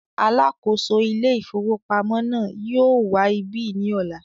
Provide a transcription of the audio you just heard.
“ alákòóso Ilé-ìfowópamọ́” náà yóò wá ibí ní ọ̀la.